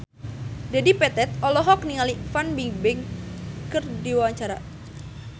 Dedi Petet olohok ningali Fan Bingbing keur diwawancara